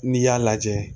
N'i y'a lajɛ